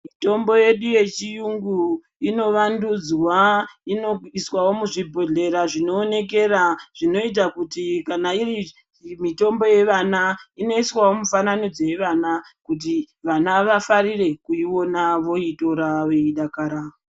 Mitombo yedu yechiyungu inovandudzwa. Inoiswawo muzvibhodhlera zvinoonekera zvinoita kuti kana iri mitombo yevana, inoiswawo mufananidzo yevana, kuti vana vafarire kuiona, voitora veidakara.